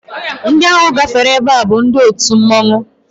Ndị ahụ gbafere ebe a bụ ndị otu mmọnwụ